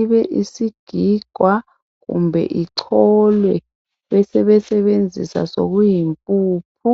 ibe isigigwa kumbe icholwe besebesebenzisa sokuyimpuphu.